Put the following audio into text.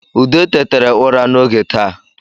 Ude tetere ụra n’oge taa